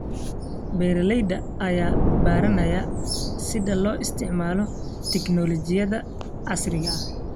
Beeralayda ayaa baranaya sida loo isticmaalo tignoolajiyada casriga ah.